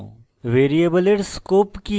ভ্যারিয়েবলের scope কি